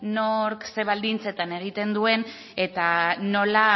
nork eta ze baldintzetan egiten duen eta nola